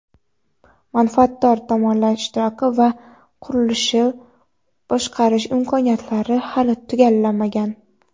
manfaatdor tomonlar ishtiroki va qurilishni boshqarish imkoniyatlari hali tugallanmagan.